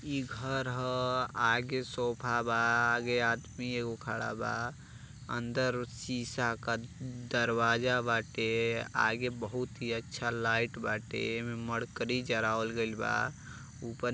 इ घर ह। आगे सोफ़ा बा। आगे आदमी एगो खड़ा बा। अंदर ओ सीसा के दरवाजा बाटे। आगे बहुत ही अच्छा लाइट बाटे। एमे मरकरी जरावल गइल बा। ऊपर --